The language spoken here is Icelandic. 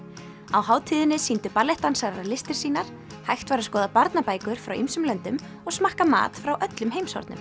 á hátíðinni sýndu listir sínar hægt var að skoða barnabækur frá ýmsum löndum og smakka mat frá öllum heimshornum